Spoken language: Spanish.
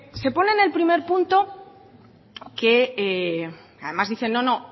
se pone el primer punto que además dice no no